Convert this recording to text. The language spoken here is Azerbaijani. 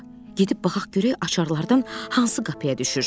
Gedib baxaq görək açarlardan hansı qapıya düşür.